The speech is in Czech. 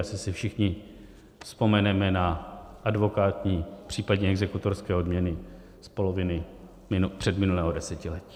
Asi si všichni vzpomeneme na advokátní, případně exekutorské odměny z poloviny předminulého desetiletí.